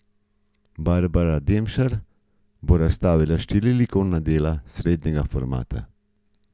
Barbara Demšar bo razstavila štiri likovna dela srednjega formata.